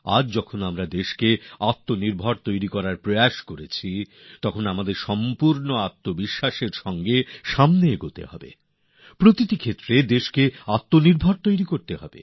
আজ আমরা যখন দেশকে আত্মনির্ভর বানানোর প্রচেষ্টা করছি তো আমাদের পূর্ণ আত্মবিশ্বাসের সঙ্গে তাকে এগিয়ে নিতে হবে প্রত্যেক ক্ষেত্রে আত্মনির্ভর হতে হবে